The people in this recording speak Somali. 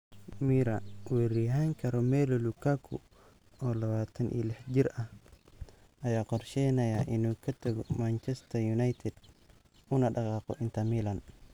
(Mirror) Weeraryahan Romelu Lukaku, oo 26 jir ah, ayaa qorsheynaya inuu ka tago Manchester United una dhaqaaqo Inter Milan.